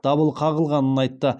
дабыл қағылғанын айтты